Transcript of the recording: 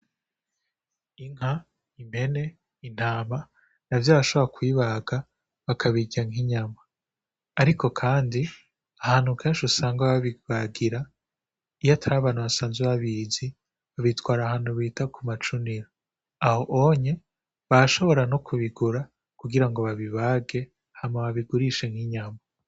Inka, impene, intama navyo barashobora kubibaga bakabirya nk'inyama, ariko kandi ahantu kenshi usanga babibagira iyo atari bantu basanzwe babizi ubitwara ahantu bita ku macunira, aho onye barashobora no kubigura kugira ngo babibage hama babigurishe nk'inyama.